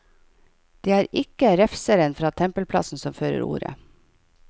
Det er ikke refseren fra tempelplassen som fører ordet.